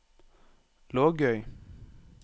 Lågøy